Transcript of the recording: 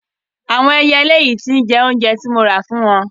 Àwọn ẹyẹlé yìí tí ń jẹ oúnjẹ tí mo ra fún wọn.